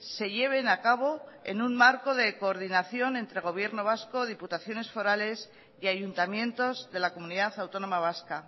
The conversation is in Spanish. se lleven a cabo en un marco de coordinación entre gobierno vasco diputaciones forales y ayuntamientos de la comunidad autónoma vasca